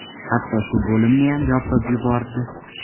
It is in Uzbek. Hatto shu bo‘limniyam yopib yubordi.